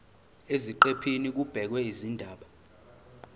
eziqephini kubhekwe izindaba